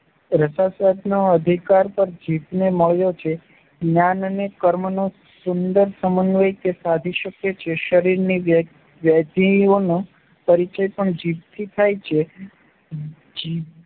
રસાસ્વાદનો અધિકાર પણ જીભને મળ્યો છે. જ્ઞાન અને કર્મનો સુંદર સમન્વય તે સાધી શકે છે. શરીરની વ્યાધિઓનો પરિચય પણ જીભથી થાય છે. જી